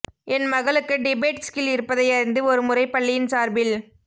என் மகளுக்கு debate skill இருப்பதையறிந்து ஒரு முறை பள்ளியின் சார்பில்